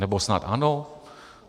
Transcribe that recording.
Nebo snad ano?